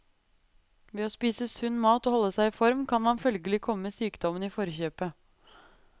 Ved å spise sunn mat og holde seg i form kan man følgelig komme sykdommen i forkjøpet.